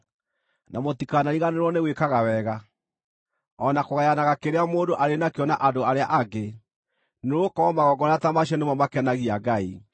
Na mũtikanariganĩrwo nĩ gwĩkaga wega, o na kũgayanaga kĩrĩa mũndũ arĩ nakĩo na andũ arĩa angĩ, nĩgũkorwo magongona ta macio nĩmo makenagia Ngai.